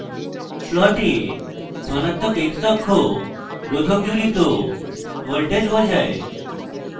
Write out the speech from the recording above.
plot ধনাত্মক x অক্ষ রোধক জুড়িত voltage বোঝায়